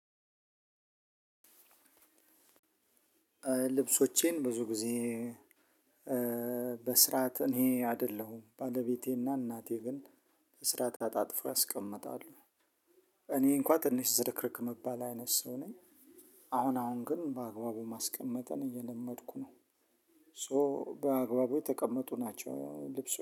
ልብሶቼን ብዙ ግዜ በስርዓት እኔ አደለሁም ባለቤቴና አናቴ ግን በስርዓት አጣጥፎ ያስቀምጣሉ። እኔ እንኳ ትንሽ ዝርክርክ ምባል አይነት ሰው ነኝ። አሁን አሁን ግን በአግባቡ ማስቀመጥን እየለመድኩ ነው። ሶ በአግባቡ የተቀመጡ ናቸው ልብሶ